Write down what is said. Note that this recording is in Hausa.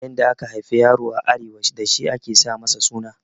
Yanayin da aka haifi yaro a Arewa dashi ake sa masa suna